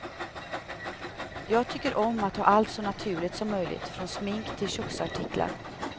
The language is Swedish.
Jag tycker om att ha allt så naturligt som möjligt, från smink till köksartiklar.